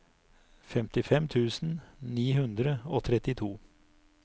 femtifem tusen ni hundre og trettito